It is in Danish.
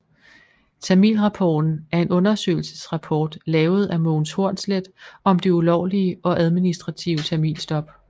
Tamilrapporten er en undersøgelsesrapport lavet af Mogens Hornslet om det ulovlige og administrative tamilstop